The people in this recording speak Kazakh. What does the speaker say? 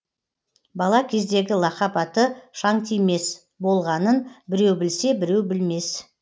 бала кездегі лақап аты шаңтимес болғанын біреу білсе біреу білмес